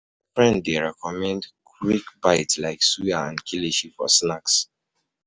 My friend dey recommend quick um bites like suya and kilishi for snack.